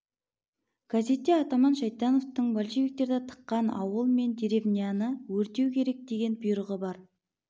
газетте атаман шайтановтың большевиктерді тыққан ауыл мен деревняны өртеу керек деген бұйрығы бар